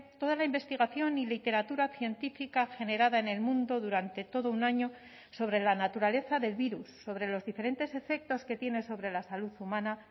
toda la investigación y literatura científica generada en el mundo durante todo un año sobre la naturaleza del virus sobre los diferentes efectos que tiene sobre la salud humana